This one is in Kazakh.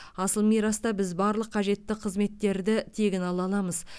асыл мираста біз барлық қажетті қызметтерді тегін ала аламыз